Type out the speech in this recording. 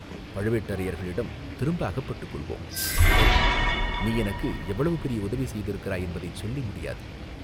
பழுவேட்டரையர்களிடம் திரும்ப அகப்பட்டுக் கொள்வோம் நேரலாம். நீ எனக்கு எவ்வளவு பெரிய உதவி செய்திருக்கிறாய் என்பதைச் சொல்லி முடியாது.